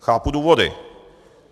Chápu důvody.